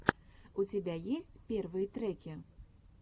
у тебя есть первые треки